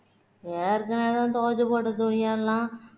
ஏற்கனவே துவச்சு போட்ட துணியெல்லாம்